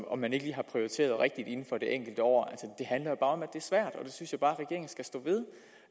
om man ikke lige har prioriteret rigtigt inden for det enkelte år synes jeg bare